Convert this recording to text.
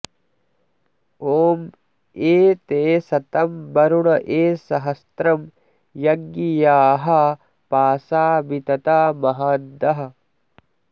ॐ ये ते शतं वरुण ये सहस्त्रं यज्ञियाः पाशा वितता महान्तः